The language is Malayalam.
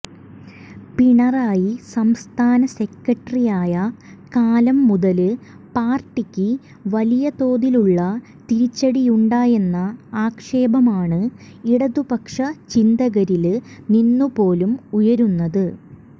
പിണറായി സംസ്ഥാന സെക്രട്ടറിയായ കാലംമുതല് പാര്ട്ടിക്ക് വലിയതോതിലുള്ള തിരിച്ചടിയുണ്ടായെന്ന ആക്ഷേപമാണ് ഇടതുപക്ഷ ചിന്തകരില് നിന്നുപോലും ഉയര്ന്നത്